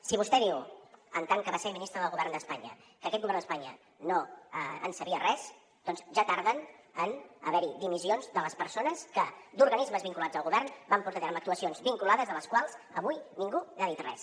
si vostè diu en tant que va ser ministre del govern d’espanya que aquest govern d’espanya no en sabia res doncs ja tarden en haver hi dimissions de les persones que d’organismes vinculats al govern van portar a terme actuacions vinculades de les quals avui ningú n’ha dit res